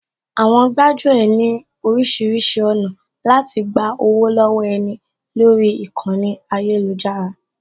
Àwọn gbájú ẹ̀ ní oríṣiríṣi ọ̀nà láti gba owó lọ́wọ́ ẹni lórí ìkànnì ayélujára